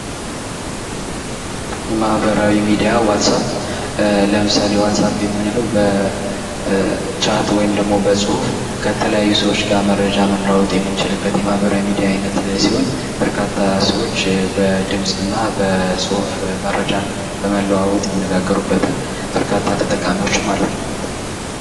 የማህበራዊ ሚዲያ ዋትሳፕ ለምሳሌ ዋትሳፕ የምንለው በቻት ወይም ደሞ በጽሁፍ የተለያዩ ሰዎች ጋር መረጃ መለዋወጥ የምንችልበት የማህበራዊ ሚዲያ አይነት ሲሆን በርካታ ሰዎች በድምፅና በጽሁፍ መረጃ ለመለወጥ ይጠቀሙበታል በርካታ ተጠቃሚዎችም አሉት።